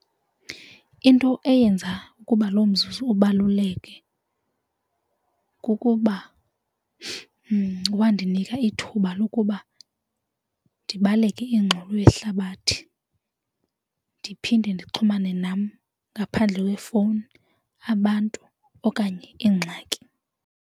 Into eyenza ukuba lo mzuzu ubaluleke kukuba wandinika ithuba lokuba ndibaleke ingxolo yehlabathi ndiphinde ndixhumane nam ngaphandle kwefowuni abantu okanye iingxaki.